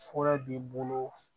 Fuɔrɔ b'i bolo